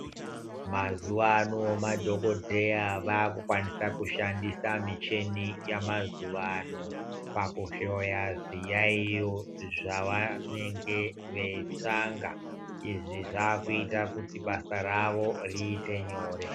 Mazuva ano madhokodheya vaku kwanisa ku shandisa micheni ya mazuva ano paku hloya zvi yayiyo zva vanenge vei tsvanga izvi zvakuita kuti basa ravo riite nyore.